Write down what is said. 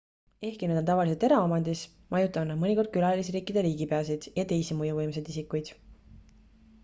ehkki nad on tavaliselt eraomandis majutavad nad mõnikord külalisriikide riigipeasid ja teisi mõjuvõimsaid isikuid